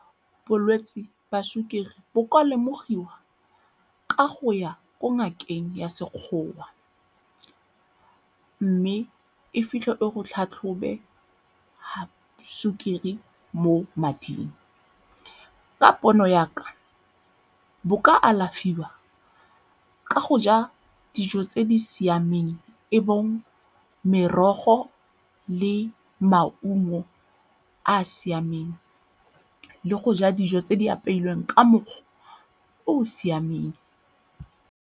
Bolwetse ba sukiri bo ka lemogiwa ka go ya ko ngakeng ya Sekgowa mme e fitlhe e go tlhatlhobe sukiri mo mading. Ka pono ya ka, bo ka alafiwa ka go ja dijo tse di siameng e bong merogo le maungo a a siameng, le go ja dijo tse di apeilweng ka mokgwa o o siameng.